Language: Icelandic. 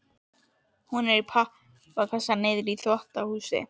Hún er í pappakassa niðri í þvottahúsi.